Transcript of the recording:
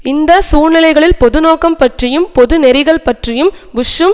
இந்த சூழ்நிலைகளில் பொது நோக்கம் பற்றியும் பொது நெறிகள் பற்றியும் புஷ்ஷும்